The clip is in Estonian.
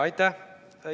Aitäh!